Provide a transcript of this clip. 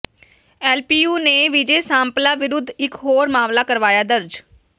LPU ਨੇ ਵਿਜੇ ਸਾਂਪਲਾ ਵਿਰੁੱਧ ਇਕ ਹੋਰ ਮਾਮਲਾ ਕਰਵਾਇਆ ਦਰਜ